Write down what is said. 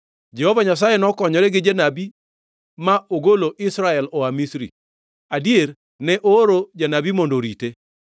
Jehova Nyasaye nokonyore gi janabi ma ogolo Israel oa Misri, adier ne ooro janabi mondo orite.